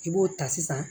I b'o ta sisan